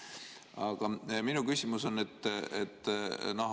Aga minu küsimus on see.